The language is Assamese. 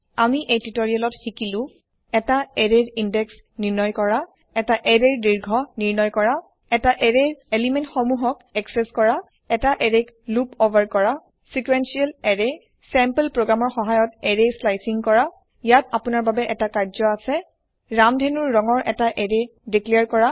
আমি এই টিউটৰিয়েলত শিকিলো এটা এৰেয়ৰ ইন্দেক্স নিৰ্ণয় কৰা এটা এৰেয়ৰ দীৰ্ঘ নিৰ্ণয় কৰা এটা এৰেয়ৰ পদাৰ্থ সমূহক একচেস কৰা এটা এৰেয় লোপ উভাৰ কৰা চিকৱেনচিয়েল এৰেয় চেম্পল প্ৰগ্ৰেমৰ সহায়ত এৰেয় স্লাইচিং কৰা ইয়াত আপুনাৰ বাবে এটা কাৰ্য্য আছে ৰামধেণুৰ ৰঙৰ এটা এৰেয় দিকক্লিয়াৰ কৰা